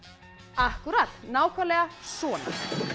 akkúrat nákvæmlega svona